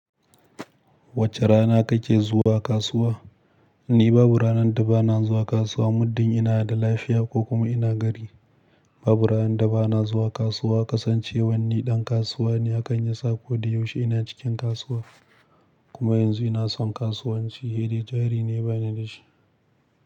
Wace rana kake zuwa kasuwa? Ni babu ranar da ba na zuwa kasuwa muddin ina da lafiya ko kuma ina gari. Babu ranar da ba na zuwa kasuwa, kasancewan ni ɗan kasuwa ne a hakan yasa ko da yaushe ina cikin kasuwa. Kuma yanzu ina son kasuwanci, hide jari ne, bani da shi.